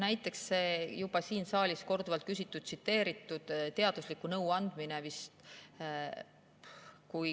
Näiteks see juba siin saalis korduvalt küsitud ja tsiteeritud teadusliku nõu andmine.